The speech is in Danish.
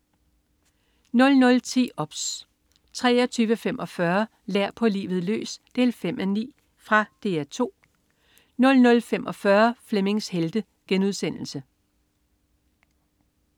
00.10 OBS 23.45 Lær på livet løs 5:9. Fra DR 2 00.45 Flemmings Helte*